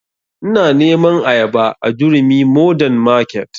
Ina neman ayaba a durumi mordern market